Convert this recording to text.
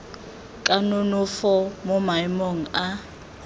ka nonofo mo maemong a